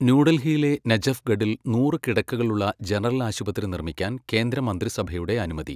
ന്യൂഡൽഹിയിലെ നജഫ്ഗഡിൽ നൂറ് കിടക്കകളുള്ള ജനറൽ ആശുപത്രി നിർമ്മിക്കാൻ കേന്ദ്രമന്ത്രിസഭയുടെ അനുമതി